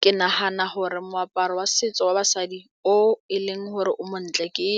Ke nagana gore moaparo wa setso wa basadi o e leng gore o montle ke